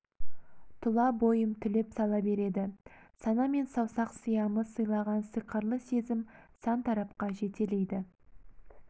тұла бойым түлеп сала береді сана мен саусақ сиамы сыйлаған сиқырлы сезім сан тарапқа жетелейді